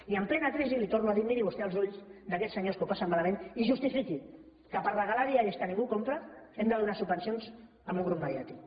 i en plena crisi li ho torno a dir miri vostè als ulls d’aquells senyors que ho passen malament i justifiqui que per regalar diaris que ningú compra hem de donar subvencions a un grup mediàtic